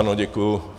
Ano, děkuji.